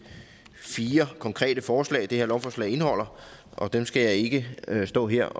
fire konkrete forslag det her lovforslag indeholder og dem skal jeg ikke stå her